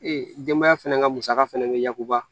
Ee denbaya fɛnɛ ka musaka fɛnɛ be yakuba